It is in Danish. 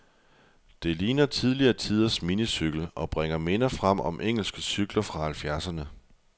Den ligner tidligere tiders minicykel, og bringer minder frem om engelske cykler fra halvfjerdserne.